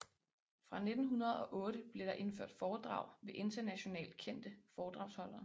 Fra 1908 blev der indført foredrag ved internationalt kendte foredragsholdere